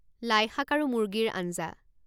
লাইশাক আৰু মুৰ্গীৰ আঞ্জা